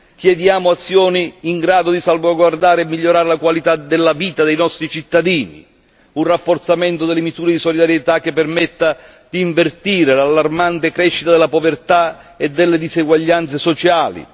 Chiediamo azioni in grado di salvaguardare e migliorare la qualità della vita dei nostri cittadini, un rafforzamento delle misure di solidarietà che permetta di invertire l'allarmante crescita della povertà e delle diseguaglianze sociali.